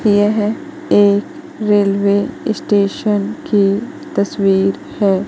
यह एक railway station की तस्वीर है।